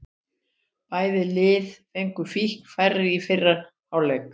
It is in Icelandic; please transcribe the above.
Bæði lið fengu fín færi í fyrri hálfleik.